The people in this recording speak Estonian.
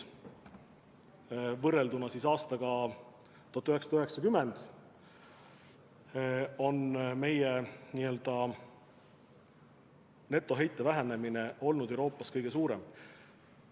Võrrelduna aastaga 1990 on meie n-ö netoheite vähenemine olnud Euroopas kõige suurem.